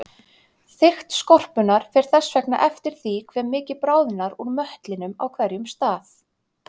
Þykkt skorpunnar fer þess vegna eftir því hve mikið bráðnar úr möttlinum á hverjum stað.